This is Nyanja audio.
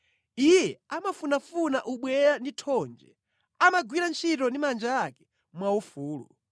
Iye amafunafuna ubweya ndi thonje; amagwira ntchito ndi manja ake mwaufulu.